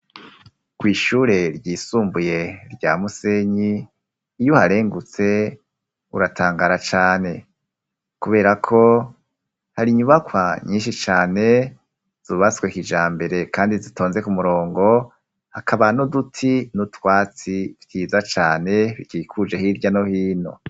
Ko'ishure ryisumbuye rya musenyi iyo uharengutse uratangara cane, kubera ko hari inyubakwa nyinshi cane zubaswekija mbere, kandi zitonze ku murongo hakaba nuduti n'utwatsi vyiza cane ikikuje hirya ohino.